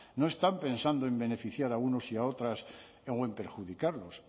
no están pensando en beneficiar a unos y a otras o en perjudicarlos